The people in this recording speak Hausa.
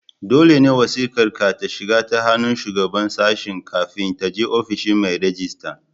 Dole ne wasiƙar ka ta shiga ta hannun Shugaban Sashen kafin ta je ofishin mai rejista.